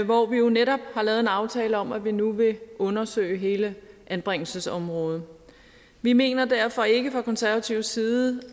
hvor vi jo netop har lavet en aftale om at vi nu vil undersøge hele anbringelsesområdet vi mener derfor ikke fra konservativ side